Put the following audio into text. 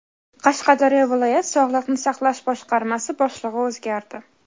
Qashqadaryo viloyat sog‘liqni saqlash boshqarmasi boshlig‘i o‘zgardi.